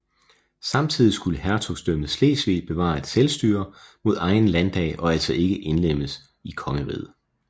Samtidig skulle Hertugdømmet Slesvig bevare et selvstyre med egen landdag og altså ikke indlemmes i kongeriget